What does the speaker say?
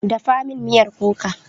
Dafa min miyar kuka!